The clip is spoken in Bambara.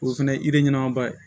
O fɛnɛ ye ɲɛnamaba ye